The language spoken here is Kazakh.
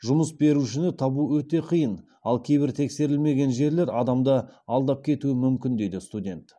жұмыс берушіні табу өте қиын ал кейбір тексерілмеген жерлер адамды алдап кетуі мүмкін дейді студент